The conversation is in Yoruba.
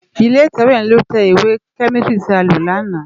Ilé itèwé yèn ló tè iwé kèmísitìrí ti á ló làná